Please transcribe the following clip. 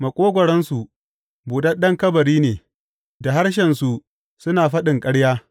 Maƙogwaronsu buɗaɗɗen kabari ne; da harshensu suna faɗin ƙarya.